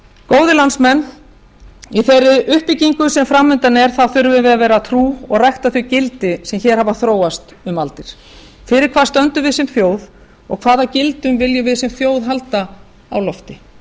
góðir landsmenn í þeirri uppbyggingu sem fram undan er þurfum við að vera trú og rækta þau gildi sem hér hafa þróast um aldir fyrir hvað stöndum við sem þjóð og hvaða gildum viljum við sem þjóð halda á lofti